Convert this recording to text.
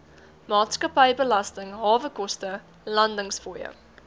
maatskappybelasting hawekoste landingsfooie